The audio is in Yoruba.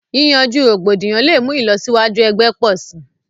Yìyànju rògbòdíyàn lẹ̀ mú ilọ̀síwàjú ẹ̀gbẹ̀ pọ̀ sí.